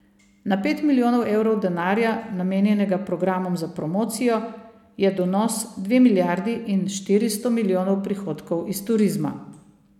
Na pet milijonov evrov denarja, namenjenega programom za promocijo, je donos dve milijardi in štiristo milijonov prihodkov iz turizma.